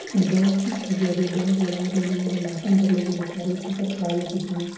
अ dance - उंस होय रहल छै डांस वाला मैडम भाषण करले छै उने चारगो टीचर खड़ा छै पिछु में।